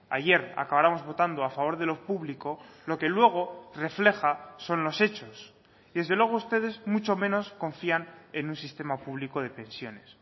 ayer acabáramos votando a favor de lo público lo que luego refleja son los hechos desde luego ustedes mucho menos confían en un sistema público de pensiones